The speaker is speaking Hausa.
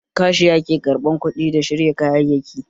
Kashiya ke ƙarɓan kuɗi da shirya kayyaki